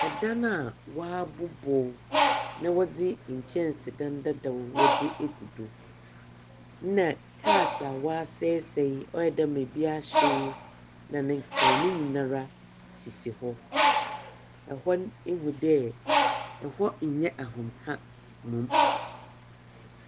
Dan a wɔabobɔ na wɔdze nkyɛnsedan dadaw egu do, na cars a wɔasɛɛsɛɛ ɔyɛ dɛ dza bi ahyew na ne nkekaho ne nyina sisi hɔ. Hɔ no, ihu dɛ hɔ nnyɛ ahomka mbom.